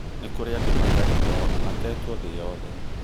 Nĩ kũrĩ andũ matarĩ kwao na matetwo thĩ yothe.